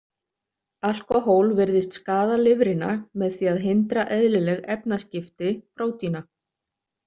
Alkóhól virðist skaða lifrina með því að hindra eðlileg efnaskipti prótína.